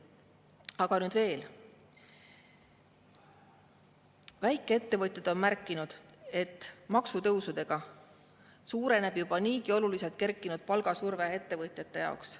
Aga nüüd veel, väikeettevõtjad on märkinud, et maksutõusudega suureneb juba niigi oluliselt kerkinud palgasurve ettevõtjate jaoks.